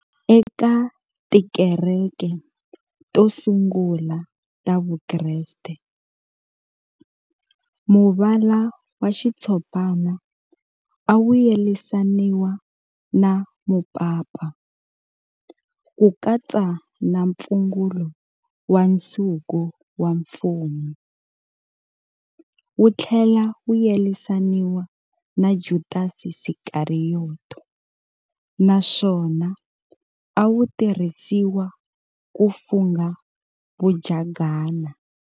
Eka tikereke to sungula ta vukreste, muvala wa xitshopana a wu yelanisiwa na mupapa, ku katsa na mpfungulo wa nsuku wa mfumo, wuthlela wu yelanisiwa na Judasi Skariyoti naswona a wutirhisiwa ku funga vajagana.